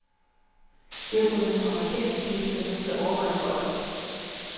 Det har fået nogle amerikanske kvindegrupper til at overveje en boykot.